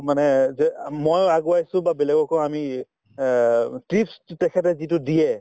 মানে যে অ মই আগুৱাইছো বা বেলেগকো আমি অ tips তেখেতে যিটো দিয়ে